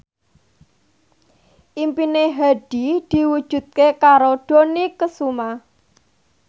impine Hadi diwujudke karo Dony Kesuma